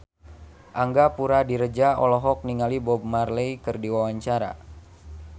Angga Puradiredja olohok ningali Bob Marley keur diwawancara